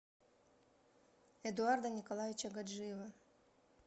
эдуарда николаевича гаджиева